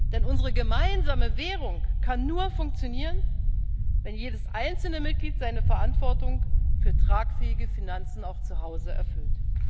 Denn unsere gemeinsame Währung kann nur funktionieren, wenn jedes einzelne Mitglied seine Verantwortung für tragfähige Finanzen auch zu Hause erfüllt.